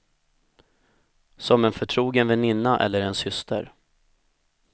Som en förtrogen väninna eller en syster.